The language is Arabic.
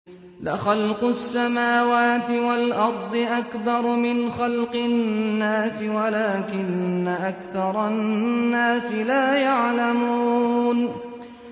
لَخَلْقُ السَّمَاوَاتِ وَالْأَرْضِ أَكْبَرُ مِنْ خَلْقِ النَّاسِ وَلَٰكِنَّ أَكْثَرَ النَّاسِ لَا يَعْلَمُونَ